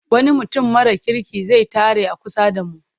Wani mutum mara kirki zai tare a kusa da mu.